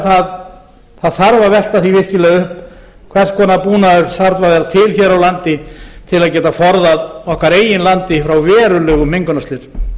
það þarf að velta því virkilega upp hvers konar búnaður þarf að vera til hér á landi til að geta forðað okkar eigin landi frá verulegum mengunarslysum